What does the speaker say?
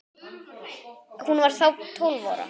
Hún var þá tólf ára.